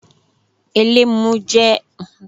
Ẹlému jẹ́ ẹranko kékeré tí ń ńlájú sí ìlera ìbílè nítorí bíbẹ́ wọn.